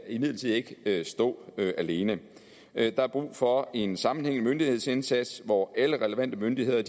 imidlertid ikke stå alene der er brug for en sammenhængende myndighedsindsats hvor alle relevante myndigheder